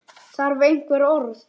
Þarf einhver orð?